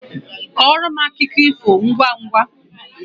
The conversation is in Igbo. Kọọrọ akụkọ ifo ngwangwa